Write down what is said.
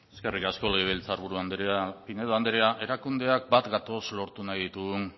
eskerrik asko legebiltzar buru andrea pinedo andrea erakundeak bat gatoz lortu nahi ditugun